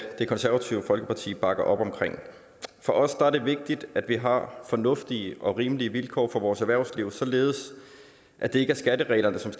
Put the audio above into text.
det konservative folkeparti bakke op om for os er det vigtigt at vi har fornuftige og rimelige vilkår for vores erhvervsliv således at det ikke er skattereglerne som